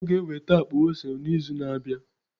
Ọ ga-eweta akpa ose n'izu na-abịa.